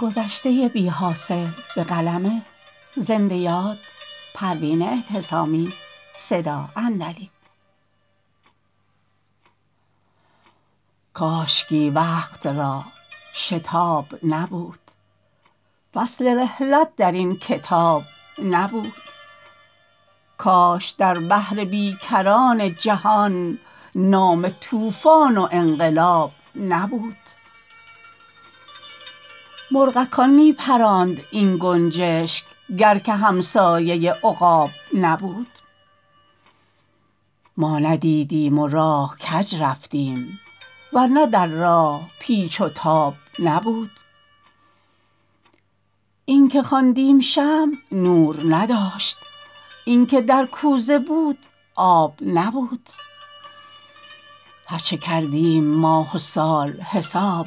کاشکی وقت را شتاب نبود فصل رحلت در این کتاب نبود کاش در بحر بی کران جهان نام طوفان و انقلاب نبود مرغکان می پراند این گنجشک گر که همسایه عقاب نبود ما ندیدیم و راه کج رفتیم ور نه در راه پیچ و تاب نبود اینکه خواندیم شمع نور نداشت اینکه در کوزه بود آب نبود هر چه کردیم ماه و سال حساب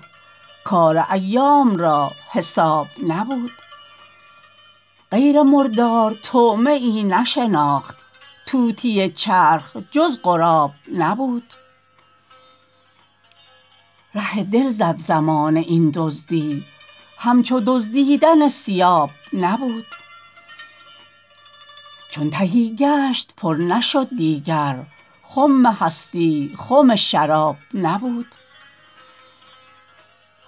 کار ایام را حساب نبود غیر مردار طعمه ای نشناخت طوطی چرخ جز غراب نبود ره دل زد زمانه این دزدی همچو دزدیدن ثیاب نبود چو تهی گشت پر نشد دیگر خم هستی خم شراب نبود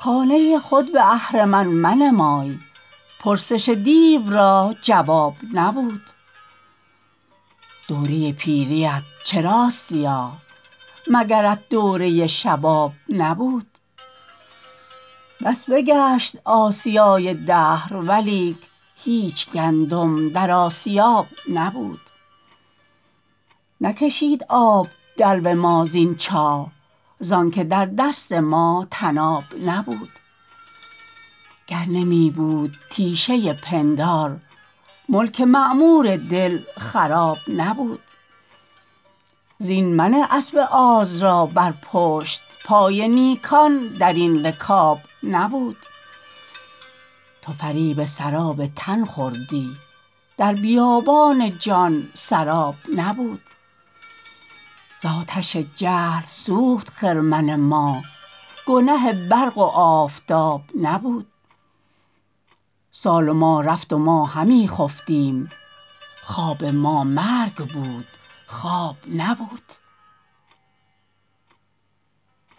خانه خود به اهرمن منمای پرسش دیو را جواب نبود دوره پیریت چراست سیاه مگرت دوره شباب نبود بس بگشت آسیای دهر ولیک هیچ گندم در آسیاب نبود نکشید آب دلو ما زین چاه زانکه در دست ما طناب نبود گر نمی بود تیشه پندار ملک معمور دل خراب نبود زین منه اسب آز را بر پشت پای نیکان درین رکاب نبود تو فریب سراب تن خوردی در بیابان جان سراب نبود ز آتش جهل سوخت خرمن ما گنه برق و آفتاب نبود سال و مه رفت و ما همی خفتیم خواب ما مرگ بود خواب نبود